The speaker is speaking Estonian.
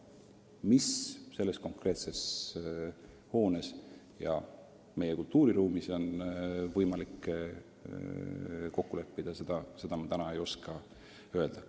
Mis selle konkreetse hoone puhul ja meie kultuuriruumis on võimalik kokku leppida, seda ma täna ei oska öelda.